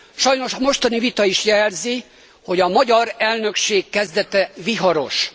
Sajnos a mostani vita is jelzi, hogy a magyar elnökség kezdete viharos.